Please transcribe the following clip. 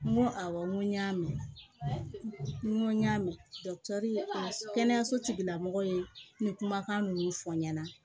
N ko awɔ n ko n y'a mɛn n ko n y'a mɛn kɛnɛyaso tigila mɔgɔ ye ni kumakan ninnu fɔ n ɲɛna